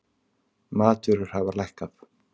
Matvörur hafa lækkað